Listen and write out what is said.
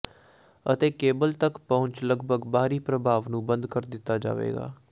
ਅਤੇ ਕੇਬਲ ਤੱਕ ਪਹੁੰਚ ਲੱਗਭਗ ਬਾਹਰੀ ਪ੍ਰਭਾਵ ਨੂੰ ਬੰਦ ਕਰ ਦਿੱਤਾ ਜਾਵੇਗਾ